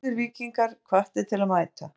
Allir Víkingar hvattir til að mæta.